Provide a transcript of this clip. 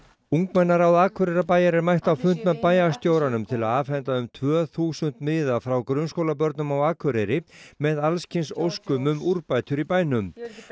ungmennaráð Akureyrarbæjar er mætt á fund með bæjarstjóranum til að afhenda um tvö þúsund miða frá grunnskólabörnum á Akureyri með alls kyns óskum um úrbætur í bænum